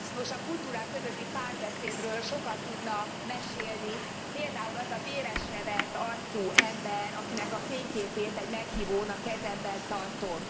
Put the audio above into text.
Nos, a kultúrák közötti párbeszédről sokat tudna mesélni például az a véresre vert arcú ember, akinek a fényképét egy meghívón a kezemben tartom.